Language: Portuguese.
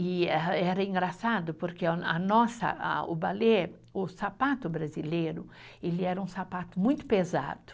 E eh era engraçado, porque a a nossa, a o balé, o sapato brasileiro, ele era um sapato muito pesado.